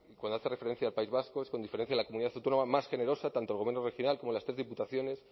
cuando hace referencia al país vasco es con diferencia la comunidad autónoma más generosa tanto el gobierno regional como las tres diputaciones